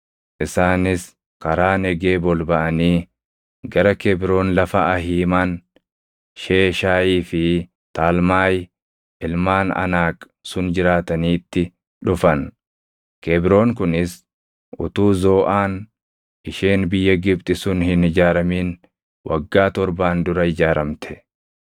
Isaanis karaa Negeeb ol baʼanii gara Kebroon lafa Ahiiman, Sheeshaayii fi Talmaayi ilmaan Anaaq sun jiraataniitti dhufan. Kebroon kunis utuu Zooʼaan isheen biyya Gibxi sun hin ijaaramin waggaa torbaan dura ijaaramte.